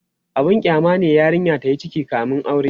abun kyama ne yarinya tayi ciki kamin aure